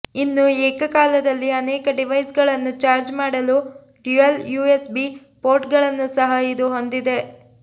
ಇನ್ನು ಏಕಕಾಲದಲ್ಲಿ ಅನೇಕ ಡಿವೈಸ್ಗಳನ್ನು ಚಾರ್ಜ್ ಮಾಡಲು ಡ್ಯುಯಲ್ ಯುಎಸ್ಬಿ ಪೋರ್ಟ್ಗಳನ್ನು ಸಹ ಇದು ಹೊಂದಿದೆ